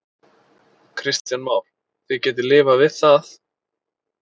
Kristján Már: Þið getið lifað við það?